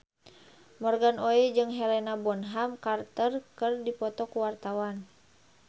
Morgan Oey jeung Helena Bonham Carter keur dipoto ku wartawan